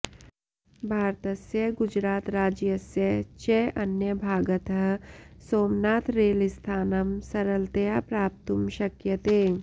भारतस्य गुजरातराज्यस्य च अन्यभागतः सोमनाथरेलस्थानं सरलतया प्राप्तुं शक्यते